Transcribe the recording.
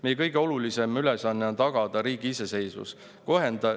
Meie kõige olulisem ülesanne on tagada riigi iseseisvus.